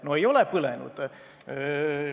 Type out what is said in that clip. No ei ole põlenud!